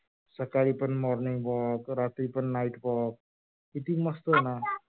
सकाळी पण morning walk रात्री पण night walk किती मस्त आहे ना? आत्ता